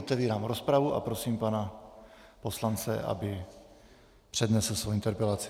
Otevírám rozpravu a prosím pana poslance, aby přednesl svou interpelaci.